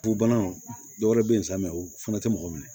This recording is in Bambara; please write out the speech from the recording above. Fu banaw dɔwɛrɛ bɛ yen sa u fana tɛ mɔgɔ minɛ